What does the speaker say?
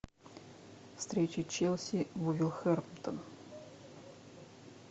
встреча челси вулверхэмптон